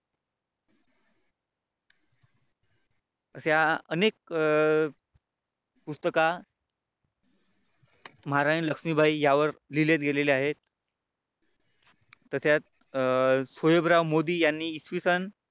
अशा अनेक पुस्तका महाराणी लक्ष्मीबाई यावर लिहिले गेलेले आहेत. तसेच मोदी यांनी इसवी सन